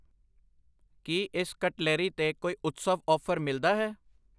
ਕਿ ਇਸ ਕਟਲਰੀ ਤੇ ਕੋਈ ਉਤਸਵ ਆਫ਼ਰ ਮਿਲਦਾ ਹੈ ?